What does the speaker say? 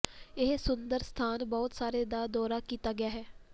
ਇਹ ਸੁੰਦਰ ਸਥਾਨ ਬਹੁਤ ਸਾਰੇ ਦਾ ਦੌਰਾ ਕੀਤਾ ਗਿਆ ਹੈ